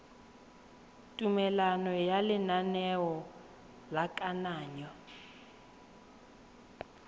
tumelelo ya lenaneo la kananyo